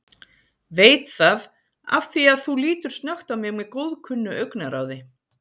Veit það afþvíað þú lítur snöggt á mig með góðkunnu augnaráði.